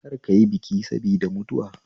Kar kayi biki sabida mutuwa